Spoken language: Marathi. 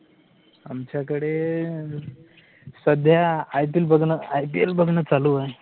आमच्याकडे सध्या IPL बघणं IPL बघणं चालू आहे